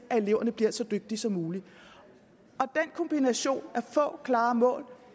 at eleverne bliver så dygtige som muligt kombinationen med få klare mål og